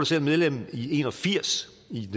selv medlem i nitten en og firs